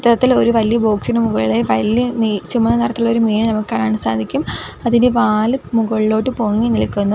ഇത്തരത്തിൽ ഒരു വലിയ ബോക്സിനു മുകളിലായി വലിയ നീ ചുമന്ന നിറത്തിലുള്ള ഒരു മീനെ നമുക്ക് കാണാൻ സാധിക്കും അതിൻ്റെ വാല് മുകളിലോട്ട് പൊങ്ങി നിൽക്കുന്നു.